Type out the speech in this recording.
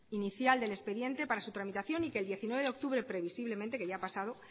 inicial del expediente para su tramitación y que el diecinueve de octubre previsiblemente que ya ha pasado